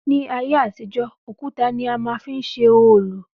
Ní ayé àtijó òkutá ni a má n fi ṣe òòlù